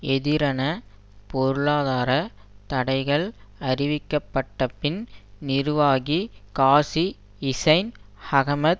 எதிரான பொருளாதார தடைகள் அறிவிக்கப்பட்டபின் நிர்வாகி காசி ஹிசைன் அகமது